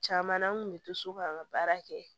Caman na an kun bɛ to so k'an ka baara kɛ